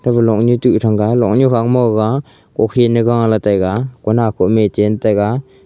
tabo luaknu tuh thanga luaknu khangma gaga kukhinye gahla taiga konah koh ma ye chen taiga.